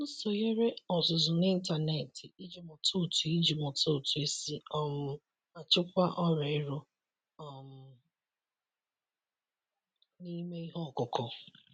M sonyeere ọzụzụ n’ịntanetị iji mụta otu iji mụta otu esi um achịkwa ọrịa ero um n’ime ihe ọkụkụ.